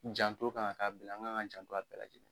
Janto kan ka kɛ a bɛɛ la an kan ka an janto a bɛɛ lajɛlen